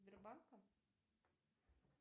сбербанка